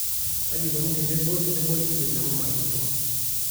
kaji eikoni teneboli email amu mayiolo